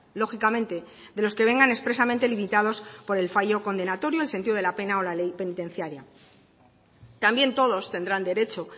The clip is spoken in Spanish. lógicamente de los que vengan expresamente limitados por el fallo condenatorio el sentido de la pena o la ley penitenciaria también todos tendrán derecho